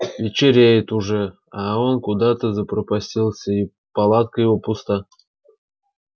вечереет уже а он куда-то запропастился и палатка его пуста